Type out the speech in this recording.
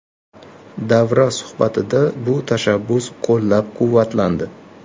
Davra suhbatida bu tashabbus qo‘llab-quvvatlandi.